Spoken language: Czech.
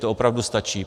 To opravdu stačí.